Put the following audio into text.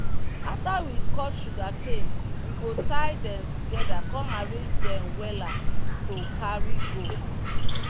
after we cut sugarcane we go tie dem together come arrange dem wella to carry go.